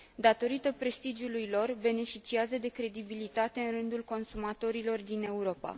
Datorită prestigiului lor, beneficiază de credibilitate în rândul consumatorilor din Europa.